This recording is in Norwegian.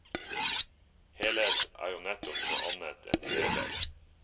Helhet er jo nettopp noe annet enn deler.